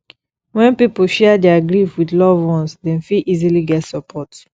when pipo share their grief with loved ones dem fit easily get support